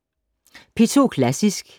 DR P2 Klassisk